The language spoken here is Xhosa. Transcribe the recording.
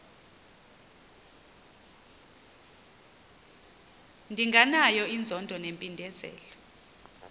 ndinganayo inzondo nempindezelo